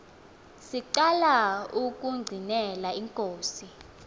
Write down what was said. siqala ukungqinela inkosi